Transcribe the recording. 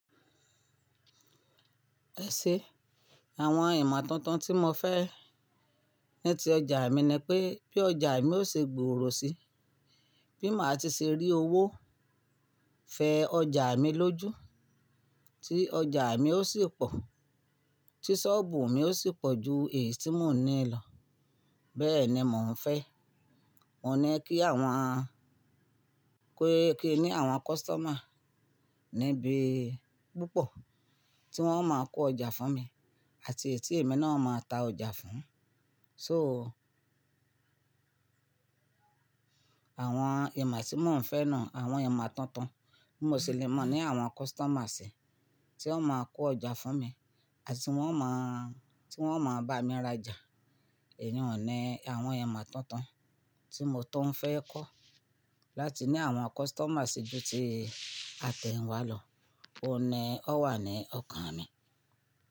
Ẹ̀ ṣe, àwọn ìmọ̀ tuntun tí mo fẹ́ ní ti ọjà mi ni pé, bí ọjà mi ó ṣe gbòòrò si, bí màá ti ṣe rí owó fẹ ọjà mi lójú, tí ọjà mi ó sì pọ̀, tí sọ́ọ̀bù mi ó sì pọ̀ ju èyí tí mo ní lọ. Bẹ́ẹ̀ ni mò ń fẹ́. Mo ní kí àwọn k-kí ni àwọn customer níbí púpọ̀ tí wọ́n máa kó ọjà fún mi àti èyí tí èmi náà máa ta ọjà fún. So, àwọn ìmọ̀ tí mò ń fẹ́ náà, àwọn ìmọ̀ tuntun, bí mo ṣe lè mọ̀ ní àwọn customer sí tí wọ́n máa kó ọjà fún mi àti wọ́n máàán tí wọ́n máa bá mi rajà. Èyun ni wọn ní àwọn ìmọ̀ tuntun tí mo tuń fẹ́ kọ́ láti ní àwọn customer sí ju tí a tẹ̀yin wá lọ. Ó ni ó wà ní ọkàn mi.